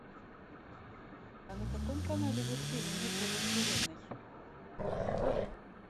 а на каком канале идет фильм битва во вселенной